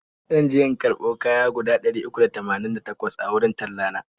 zanje in karbo kaya guda ɗari uku da tamanin da takwas a wurin tella na.